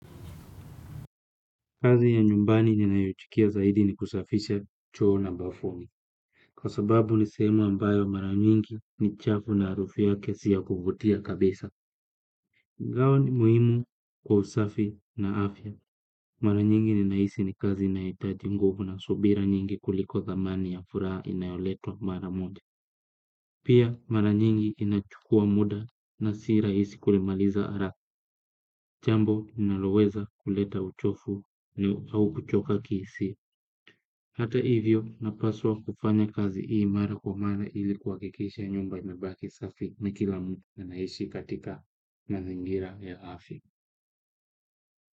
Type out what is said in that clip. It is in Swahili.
Kazi ya nyumbani ninayochukia zaidi ni kusafisha choo na bafuni. Kwa sababu ni sehemu ambayo mara nyingi ni chafu na arufu yake si ya kuvutia kabisa. Gawa ni muhimu kwa usafi na afya. Mara nyingi ninahisi ni kazi inaitaji nguvu na subira nyingi kuliko dhamani ya furaha inayoletwa mara moja. Pia mara nyingi inachukua muda na si raisi kulimaliza ara. Jambo ninaloweza kuleta uchofu au kuchoka kihisia. Hata hivyo napaswa kufanya kazi hii mara kwa mara ili kuhakikisha nyumba inabaki safi na kila mtu anahishi katika mazingira ya afya.